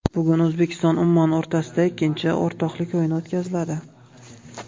Bugun O‘zbekistonUmmon o‘rtasida ikkinchi o‘rtoqlik o‘yini o‘tkaziladi.